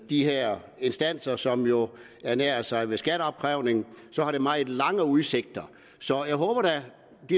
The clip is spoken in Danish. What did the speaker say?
de her instanser som jo ernærer sig ved skatteopkrævning for så har det meget lange udsigter så jeg håber da